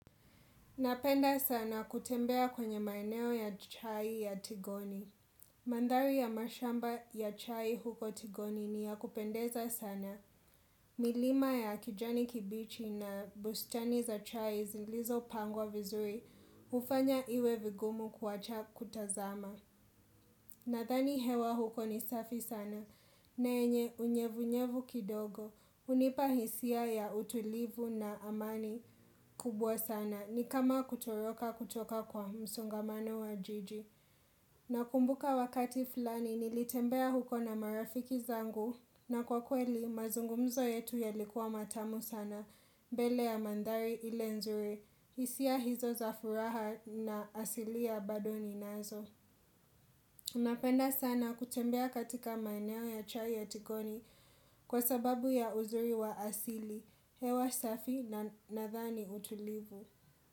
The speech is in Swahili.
Napenda sana kutembea kwenye maeneo ya chai ya tigoni. Mandhari ya mashamba ya chai huko tigoni ni ya kupendeza sana. Milima ya kijani kibichi na bustani za chai zilizo pangwa vizuri hufanya iwe vigumu kuwacha kutazama. Nadhani hewa huko ni safi sana. Na yenye unyevu-nyevu kidogo. Unipa hisia ya utulivu na amani kubwa sana. Ni kama kutoroka kutoka kwa msongamano wa jiji Nakumbuka wakati flani nilitembea huko na marafiki zangu na kwa kweli mazungumzo yetu yalikuwa matamu sana Bele ya mandhari ile nzuri isia hizo za furaha na asili ya bado ninazo Unapenda sana kutembea katika maeneo ya chai ya tikoni Kwa sababu ya uzuri wa asili hewa safi na nadhani utulivu.